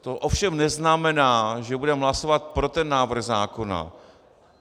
To ovšem neznamená, že budeme hlasovat pro ten návrh zákona.